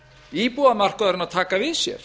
íbúðamarkaðurinn að taka við sér